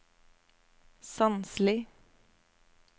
Sandsli